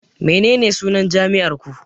Menene sunan jami'ar ku